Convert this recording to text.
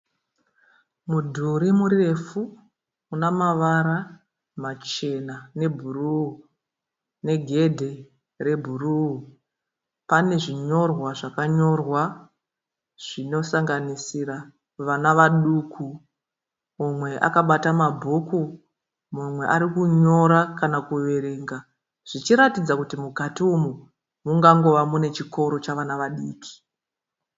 Mudhuri murefu una mavara machena nebhuruu negedhe rebhuruu. Pane zvinyorwa zvakanyorwa zvinosanganisira vana vaduku mumwe akabata mabhuku mumwe ari kunyora kana kuverenga. Zvichiratidza kuti mukati umu mungangova nechikoro chevana vadiki.